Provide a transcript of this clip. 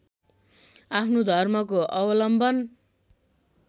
आफ्नो धर्मको अवलम्बन